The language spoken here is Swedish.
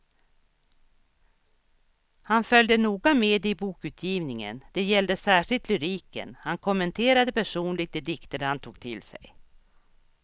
Han följde noga med i bokutgivningen, det gällde särskilt lyriken, han kommenterade personligt de dikter han tog till sig.